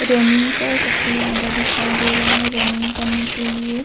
Running का सबसे ज्यादा दिखाई दे रहे हैं रनिंग करने के लिए।